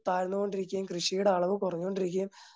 താന്നോണ്ടിരിക്കുകയും കൃഷിയുടെ അളവ് കുറഞ്ഞു കൊണ്ടിരിക്കുകയും